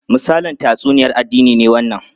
Misalin tatsuniyar addini ne wannan?